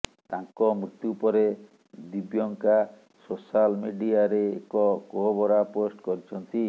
ତାଙ୍କ ମୃତ୍ୟୁ ପରେ ଦିବ୍ୟଙ୍କା ସୋଶାଲ୍ ମିଡିଆରେ ଏକ କୋହଭରା ପୋଷ୍ଟ୍ କରିଛନ୍ତି